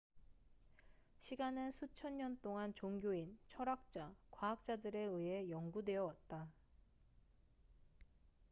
시간은 수천 년 동안 종교인 철학자 과학자들에 의해 연구되어 왔다